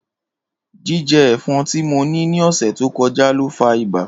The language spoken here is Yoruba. Jijẹ ẹfọn ti mo ni ni ọsẹ to kọja lo fa iba.